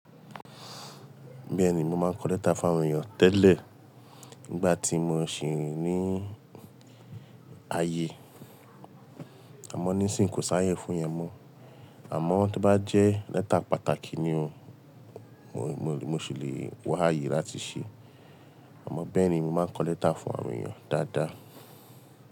Bẹ́ẹ̀ni, mo máa ń kọ lẹ́tà fún àwọn èèyàn tẹ́lẹ̀ nígbà tí mo ṣì ní ayé. Àmọ́ nísìíní kò sá yẹ fún yẹn mọ́. Àmọ́ tí bá jẹ́ lẹ́tà pàtàkì ni o, mo sì lè wá ayé láti ṣe. Àmọ́ bẹ́ẹ̀ ni mo máa ń kọ lẹ́tà fún àwọn èèyàn dáadáa.